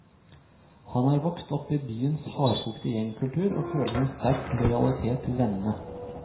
Han har vokst opp i byens hardkokte gjengkultur og føler en sterk lojalitet til vennene.